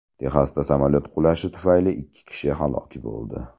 Texasda samolyot qulashi tufayli ikki kishi halok bo‘ldi.